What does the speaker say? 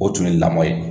O tun ye lamɔ ye